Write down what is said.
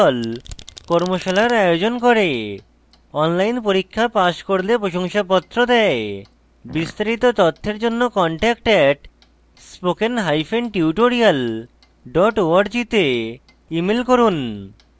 কর্মশালার আয়োজন করে online পরীক্ষা pass করলে প্রশংসাপত্র দেয় বিস্তারিত তথ্যের জন্য contact @spokentutorial org তে ইমেল করুন